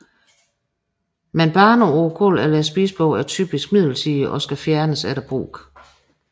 Men baner på gulvet eller spisebordet er typisk midlertidige og skal fjernes efter brug